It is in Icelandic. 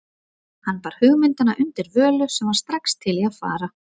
Hann bar hugmyndina undir Völu, sem var strax til í að fara.